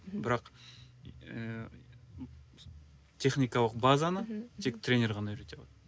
бірақ ыыы техникалық базаны тек тренер ғана үйрете алады